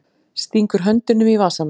Stingur höndunum í vasana.